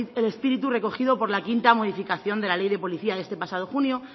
el espíritu recogido por la quinta modificación de la ley de policía de este pasado junio